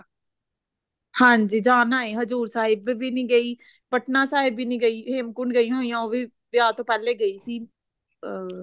ਹਾਂਜੀ ਜਾਣਾ ਏ ਹਜੂਰ ਸਾਹਿਬ ਵੀ ਨਹੀਂ ਗਈ ਪਟਨਾ ਸਾਹਿਬ ਵੀ ਨੀ ਗਈ ਹੇਮਕੁੰਟ ਗਈ ਹੋਈ ਆਂ ਉਹ ਵੀ ਵਿਆਹ ਤੋਂ ਪਹਿਲੇ ਗਈ ਸੀ ਅਹ